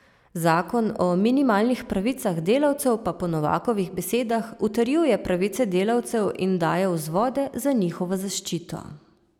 Zakon o minimalnih pravicah delavcev pa po Novakovih besedah utrjuje pravice delavcev in daje vzvode za njihovo zaščito.